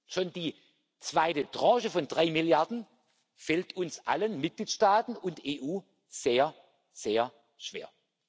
Schon die zweite Tranche von drei Milliarden fällt uns allen den Mitgliedstaaten und der EU sehr, sehr schwer.